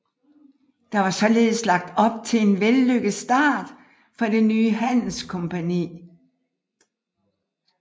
Der var således lagt op til en vellykket start for det nye handelskompagni